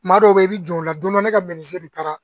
Kuma dɔw bɛ yen i bɛ jɔ u la don dɔ ne ka de taara